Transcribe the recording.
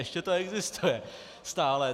Ještě to existuje stále.